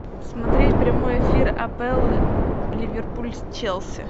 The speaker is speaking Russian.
смотреть прямой эфир апл ливерпуль с челси